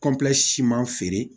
siman feere